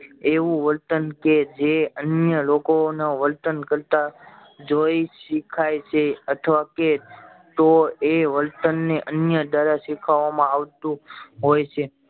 એવું વર્તન કે જે અન્ય લોકો ના વર્તન કરતા જોઈ શીખાય છે અથવા કે તો એ વર્તન એ અન્ય દ્વારા શીખવવા માં આવતું હોય છે